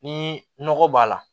Ni nɔgɔ b'a la